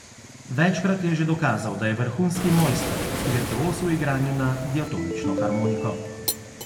Večkrat je že dokazal, da je vrhunski mojster, virtuoz v igranju na diatonično harmoniko.